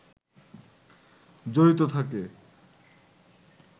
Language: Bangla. জড়িত থাকে